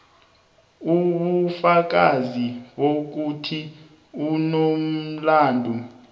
ubufakazi bokuthi unomlandu